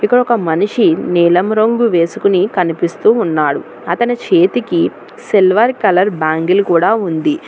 ఇక్కడ ఒక మనిషి నీలం రంగు వేసుకుని కనిపిస్తూ ఉన్నాడు అతను చేతికి సిల్వర్ కలర్ బ్యాంగిల్ కూడా ఉంది.